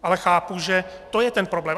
Ale chápu, že to je ten problém.